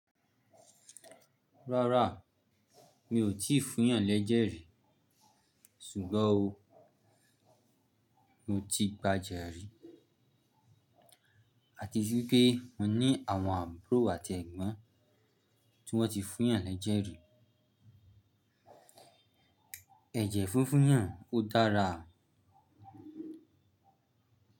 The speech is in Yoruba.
Rárá, mi ò tí fún ìyàn lẹ́jẹ̀ rí, ṣùgbọ́n o, mo ti gbà ejẹ́ rí. Àti wipé mo ní àwọn àbúrò àti ẹ̀gbọ́n tí wọ́n ti fún ìyàn lẹ́jẹ̀ rí. Ẹ̀jẹ̀ fúnfún ìyàn ó dára.